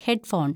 head phone‍